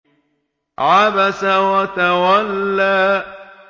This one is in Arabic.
عَبَسَ وَتَوَلَّىٰ